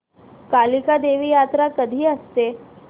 कालिका देवी यात्रा कधी असते